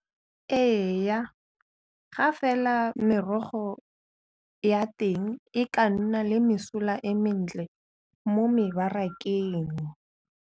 Eya, ga fela merogo ya teng e ka nna le mesola e mentle mo mebarakeng.